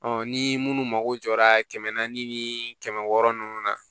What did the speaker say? ni minnu mako jɔra kɛmɛ naani ni kɛmɛ wɔɔrɔ ninnu na